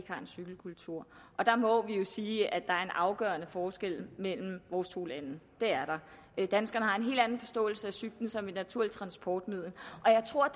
cykelkultur og der må vi jo sige at er en afgørende forskel mellem vores to lande det er der danskerne har en helt anden forståelse af cyklen som et naturligt transportmiddel og jeg tror